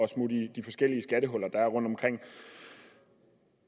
smutte i de forskellige skattehuller der er rundtomkring